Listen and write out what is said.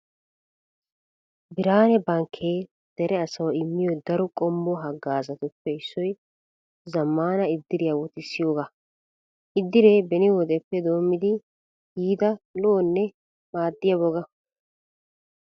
Biraane bankkee dere asawu immiyo daro qommo hagaazatuppe issoy zammana iddiriyaa wotissiyogaa. Iddiree beni wodeppe doommidi yiida lo'onne maaddiya woga.